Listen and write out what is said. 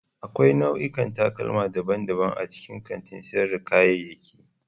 Akwai nau'ikan takalma daban-daban a cikin kantin sayar da kayayyaki.